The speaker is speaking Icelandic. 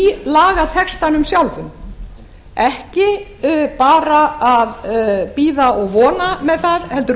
lagatextanum sjálfum ekki bara að bíða og vona með það heldur